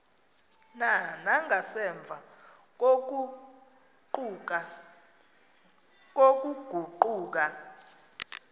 na nangasemva kokuguquka